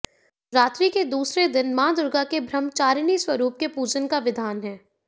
नवरात्रि के दूसरे दिन मां दुर्गा के ब्रह्मचारिणी स्वरूप के पूजन का विधान है